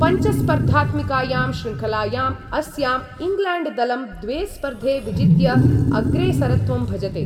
पञ्चस्पर्धात्मिकायां शृङ्खलायाम् अस्याम् इङ्ग्लेण्ड्दलं द्वे स्पर्धे विजित्य अग्रेसरत्वं भजते।